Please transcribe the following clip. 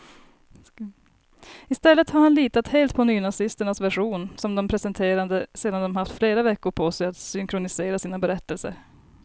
I stället har han litat helt på nynazisternas version, som de presenterade sedan de haft flera veckor på sig att synkronisera sina berättelser.